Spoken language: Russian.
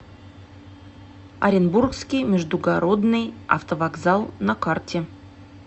оренбургский междугородный автовокзал на карте